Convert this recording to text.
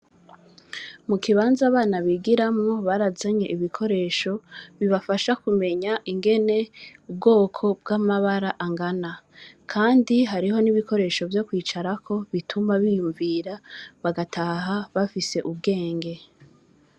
Mu kibanza abana bigiramwo, barazanye ibikoresho bibafasha kumenya ingene ubwoko bw’amabara angana; kandi hariho n’ibikoresho vyo kwicarako bituma biyumvira, bagataha bafise ubwenge.